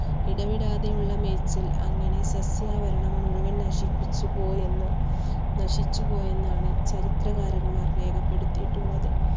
ഇടവിടാതെയുള്ള മേച്ചിൽ അങ്ങനെ സസ്യാഭരണം മുഴുവൻ നശിച്ചുപോയെന്ന്~നശിച്ചുപോയെന്നാണ് ചരിത്രകാരന്മാർ രേഖപ്പെടുത്തിയിട്ടുള്ളത്.